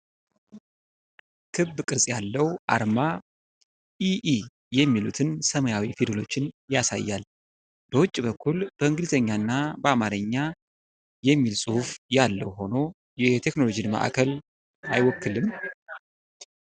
ክብ ቅርጽ ያለው አርማ 'ኢ ኢ' የሚሉትን ሰማያዊ ፊደሎች ያሳያል፤ በውጭ በኩል በእንግሊዝኛና በአማርኛ " የሚል ጽሑፍ ያለው ሆኖ የቴክኖሎጂ ማዕከልን አይወክልም?